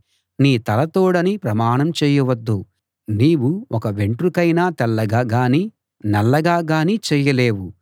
నీ తల తోడని ప్రమాణం చేయవద్దు నీవు ఒక వెంట్రుకైనా తెల్లగా గాని నల్లగా గాని చేయలేవు